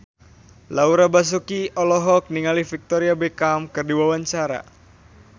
Laura Basuki olohok ningali Victoria Beckham keur diwawancara